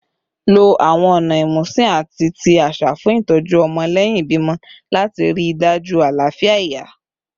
Lo awọn ọna imusin ati ti aṣa fun itọju ọmọ lẹhin ibimọ lati rii daju alafia iya